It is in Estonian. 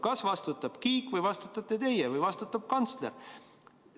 Kas vastutab Kiik või vastutate teie või vastutab kantsler?